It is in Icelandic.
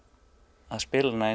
spila hana